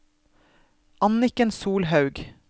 Anniken Solhaug